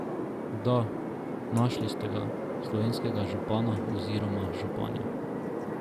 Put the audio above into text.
Da, našli ste ga, slovenskega župana oziroma županjo.